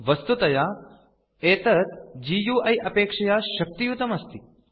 वस्तुतया एतत् गुइ अपेक्षया शक्तियुतम् अस्ति